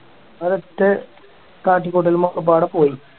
അത് മറ്റേ കാട്ടിക്കൂട്ടലും ഒക്കെപാടെ പോയി